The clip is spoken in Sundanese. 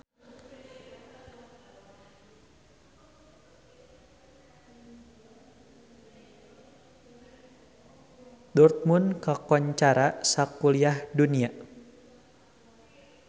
Dortmund kakoncara sakuliah dunya